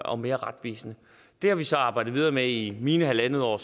og mere retvisende det har vi så arbejdet videre med i mine halvandet år